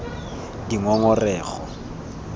dingongorego